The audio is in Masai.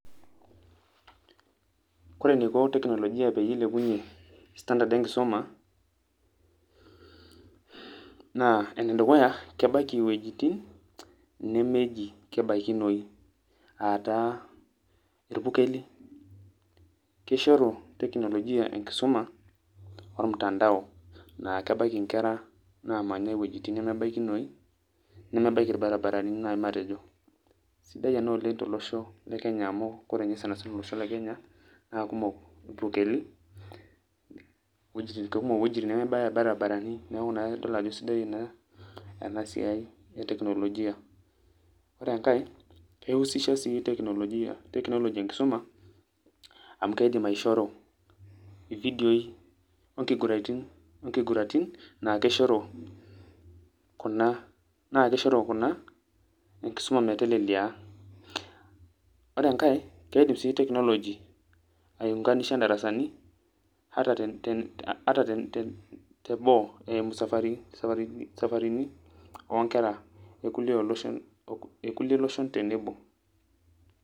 kore eniko teknolojia peyie eilepunyie standard enkisuma naa enedukuya kebaiki iwuejitin nemeji kebaikinoi ataa irpukeli kishoru teknolojia enkisuma or mtandao naa kebaiki inkera namanya iwuejitin nemebaikinoi nemebaiki irbaribarani naaji matejo sidai ena oleng tolosho le kenya kore ninye sanasana olosho le kenya naa kumok irpukeli kekumok iwuejitin nemebaya irbarabarani neeku naa kitodolu ajo sidai ena, enasiai e teknolojia ore enkae kei husisha sii teknolojia, technology enkisuma ami kidim aishoru ividioi onkiguratin naa kishoru kuna, naa kishoru kuna enkisuma metelelia ore enkae keidim sii technology aiunganisha indarasani ata teboo eimu safarini onkera ekulie loshon tenebo.